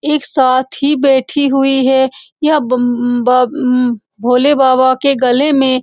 एक साथ ही बैठी हुई है। यह ब अ म बम भोले बाबा के गले में --